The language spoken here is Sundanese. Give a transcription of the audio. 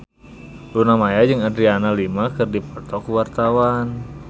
Luna Maya jeung Adriana Lima keur dipoto ku wartawan